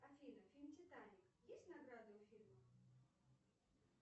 афина фильм титаник есть награды у фильма